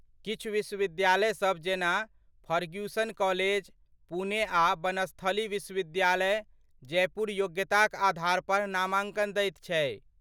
किछु विश्वविद्यालय सब जेना फर्ग्यूसन कॉलेज, पुणे आ बनस्थली विश्वविद्यालय, जयपुर योग्यताक आधार पर नामांकन दैत छै।